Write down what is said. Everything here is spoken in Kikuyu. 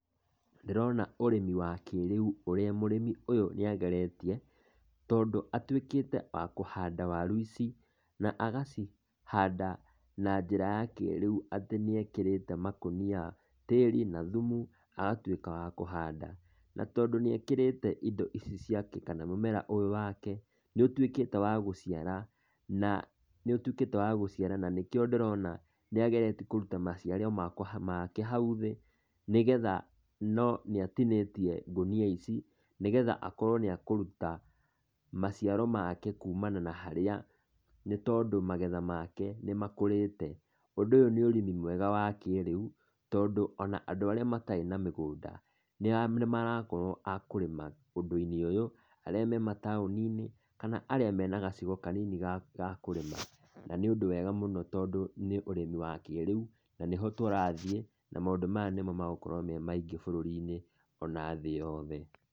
Ndĩrona ũrĩmi wa kĩrĩu, ũrĩa mũrĩmi ũyũ nĩageretie, tondũ atuĩkite wa kũhanda waru ici na agacihanda na njĩra ya kĩrĩu atĩ nĩekĩrĩte makũnia tĩri na thumu, agatuĩka wa kũhanda. Na tondũ nĩekĩrĩte indo ici ciake kana mũmera ũyũ wake, nĩũtuĩkĩte wa gũciara na nĩũtuĩkĩte wa gũciara na nĩkĩo ndĩrona nĩageretie kũruta maciaro makwa make hau thĩ nĩgetha no nĩatinĩtie ngũnia ici nĩgetha akorwo nĩakũruta maciaro make kumana na harĩa, nĩtondũ magetha make nĩmakũrĩte. Ũndũ ũyũ nĩ ũrĩmi mwega wa kĩrĩu tondũ ona andũ arĩa matarĩ na mĩgũnda nĩmarakorwo a kũrĩma ũndũ-inĩ ũyũ, arĩa me mataũni-inĩ kana arĩa mena gacigo kanini ga ga kũrĩma, na nĩ ũndũ wega mũno tondũ nĩ ũrĩmi wa kĩrĩu na nĩho tũrathiĩ na maũndũ maya nĩmo magũkorwo me maingĩ bũrũri-inĩ ona thĩ yothe.